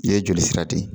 I ye joli sira de